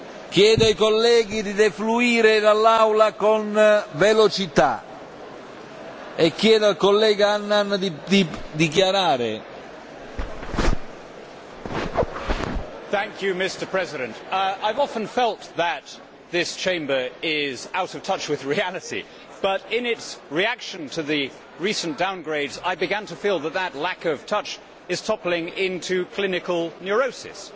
Mr President, I have often felt that this Chamber is out of touch with reality, but observing its reaction to the recent downgrades I began to feel that lack of touch was toppling into clinical neurosis.